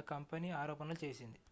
ఆ కంపెనీ ఆరోపణలు చేసింది